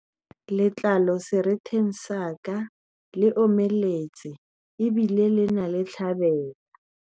letlalo seretheng sa ka le omeletse ebile ho na le ditlhabela